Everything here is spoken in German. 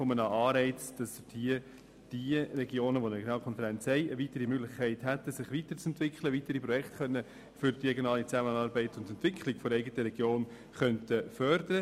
Regionen, die eine Regionalkonferenz haben, sollen die Möglichkeit bekommen, sich weiterzuentwickeln, weitere Projekte für die regionale Zusammenarbeit und zur Entwicklung der eigenen Regionen zu fördern.